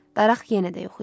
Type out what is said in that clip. Daraq yenə də yox idi.